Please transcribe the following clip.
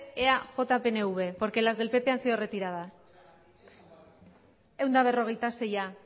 de eaj pnv porque las del pp han sido retiradas ehun eta berrogeita seia